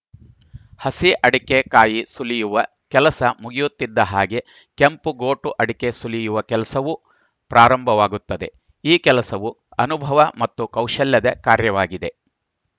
ಹಸಿ ಅಡಕೆ ಕಾಯಿ ಸುಲಿಯುವ ಕೆಲಸ ಮುಗಿಯುತ್ತಿದ್ದ ಹಾಗೆ ಕೆಂಪು ಗೋಟು ಅಡಕೆ ಸುಲಿಯುವ ಕೆಲಸವೂ ಪ್ರಾರಂಭವಾಗುತ್ತದೆ ಈ ಕೆಲಸವು ಅನುಭವ ಮತ್ತು ಕೌಶಲ್ಯದ ಕಾರ್ಯವಾಗಿದೆ